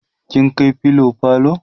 kin kai filo falo?